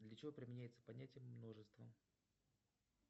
для чего применяется понятие множество